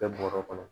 Kɛ bɔrɛ kɔnɔ